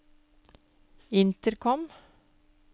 intercom